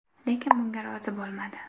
Lekin bunga rozi bo‘lmadi.